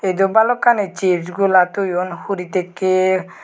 Jo balokani sij gola toyon huri tekke.